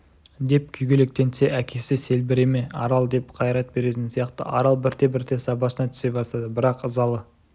деп күйгелектенсе әкесі сөлбіреме арал деп қайрат беретін сияқты арал бірте-бірте сабасына түсе бастады бірақ ызалы